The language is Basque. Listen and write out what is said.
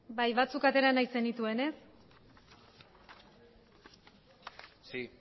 bai batzuk atera nahi zenituen ez sí